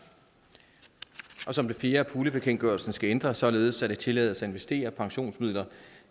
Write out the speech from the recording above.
og endelig som det fjerde at puljebekendtgørelsen skal ændres således at det tillades at investere pensionsmidler